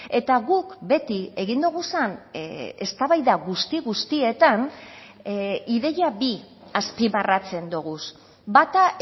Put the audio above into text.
eta guk beti egin dugun eztabaida guzti guztietan ideia bi azpimarratzen dugu bata